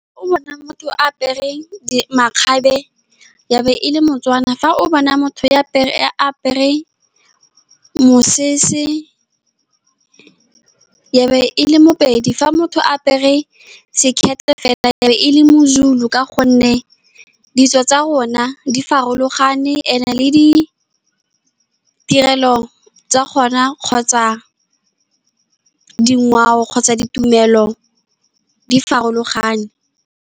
O bona motho a apere makgabe ya be e le Motswana. Fa o bona motho a apere mosese, ya be e le Mopedi. Fa motho a apere sekete fela, ya be e le moZulu, ka gonne ditso tsa rona di farologane, and-e le ditirelo tsa gona kgotsa dingwao kgotsa ditumelo, di farologane.